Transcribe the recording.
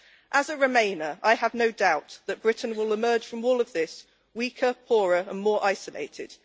As a remainer, I have no doubt that Britain will emerge from all of this weaker, poorer and more isolated.